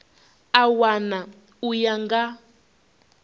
a wana u ya nga